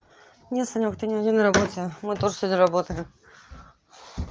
нет санёк ты не один на работе мы тоже сегодня работаем